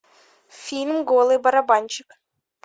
фильм голый барабанщик